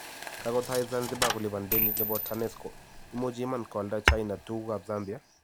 Kagotai zanzibar kolipan denit nebo TANESCO, imuchi iman koalda china ,tuguk ap zambia?